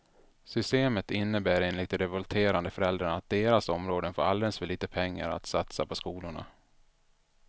Systemet innebär enligt de revolterande föräldrarna att deras områden får alldeles för lite pengar att satsa på skolorna.